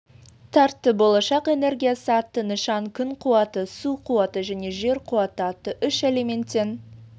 тартты болашақ энергиясы атты нышаны күн қуаты су қуаты және жер қуаты атты үш элементтен